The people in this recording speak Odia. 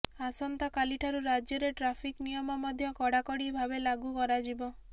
ଆସନ୍ତାକାଲିଠାରୁ ରାଜ୍ୟରେ ଟ୍ରାଫିକ୍ ନିୟମ ମଧ୍ୟ କଡ଼ାକଡ଼ି ଭାବେ ଲାଗୁ କରାଯିବ